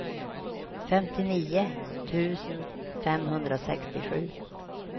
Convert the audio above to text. femtionio tusen femhundrasextiosju